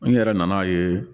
N yɛrɛ nan'a ye